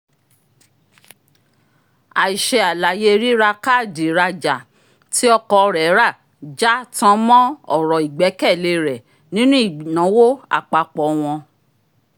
ai ṣe àlàyé rírà káàdì ìrajà tí ọkọ rẹ̀ rà já tan mọn ọ̀rọ̀ ìgbẹ́kẹ̀lé rẹ̀ nínú ìnáwó àpapọ̀ wọn